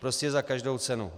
Prostě za každou cenu.